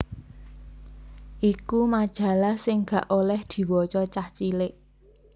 iku majalah sing gak oleh diwaca cah cilik